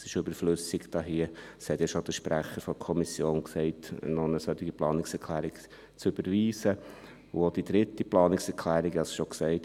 Es ist hier überflüssig – das hat ja schon der Kommissionssprecher gesagt –, noch eine solche Planungserklärung zu überweisen, auch die dritte Planungserklärung, ich habe es bereits gesagt.